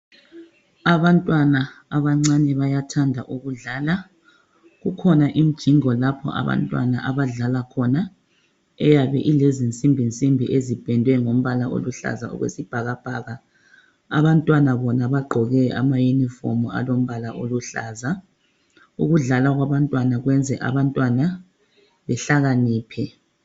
Abantwana abancane bayathanda ukudlala. Kukhona imjingo lapho abantwana abadlala khona, eyabe ilezinsimbi nsimbi eziyabe zipendwe ngombala oluhlaza o isibhaka bhaka abantwana bona bagqoke ama uniform alombala oluhlaza. Ukudlala kwabantwana kwenza bahlakaniphe.